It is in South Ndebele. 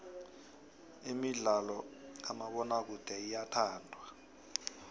imidlalo kamabonakude iyathandwa